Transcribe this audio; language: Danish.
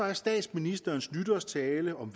er statsministerens nytårstale om